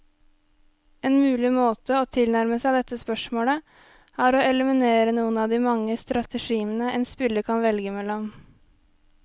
En mulig måte å tilnærme seg dette spørsmålet, er å eliminere noen av de mange strategiene en spiller kan velge mellom.